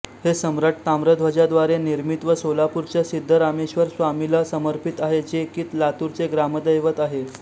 हे सम्राट ताम्रध्वजाद्वारे निर्मित व सोलापुरच्या सिद्धरामेश्वर स्वामीला समर्पित आहे जे की लातुरचे ग्रामदैवत आहे